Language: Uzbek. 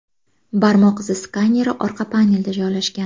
Barmoq izi skaneri orqa panelda joylashgan.